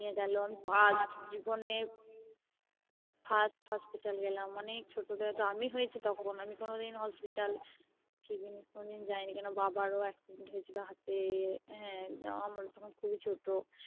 নিয়ে গেলো First জীবনের FirstHospital গেলাম অনেক ছোটোতে হয়তো আমি হয়েছি তখন আমি কোনোদিন Hospital কি জিনিস কোনোদিন যাইনি কেন বাবার ও Accident হয়েছিল হাতে হ্যাঁ আমরা তখন খুবই ছোট